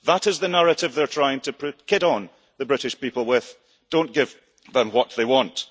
that is the narrative they are trying to kid the British people with. Do not give them what they want